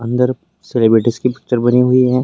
अंदर सेलिब्रिटीज़ की पिक्चर बनी हुई है।